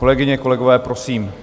Kolegové, kolegyně, prosím.